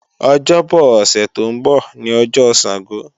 Ọjọ́bo̩ ọ̀sẹ̀ tó ń bọ̀ ní ọjọ́ Sàngó